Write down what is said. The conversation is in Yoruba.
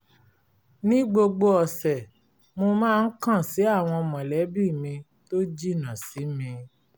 ní gbogbo ọ̀sẹ̀ mo máa ń kàn sí àwọn mọ̀lẹ́bí mi tó jìnnà sí mi